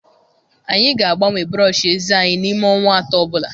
Anyị ga-agbanwe brọsh eze anyị n'ime ọnwa 3 ọ bụla.